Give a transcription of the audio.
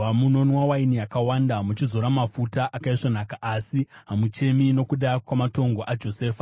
Munonwa waini yakawanda, muchizora mafuta akaisvonaka, asi hamuchemi nokuda kwamatongo aJosefa.